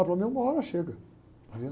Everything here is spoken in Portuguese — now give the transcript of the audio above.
Ah, para mim uma hora chega. Aí eu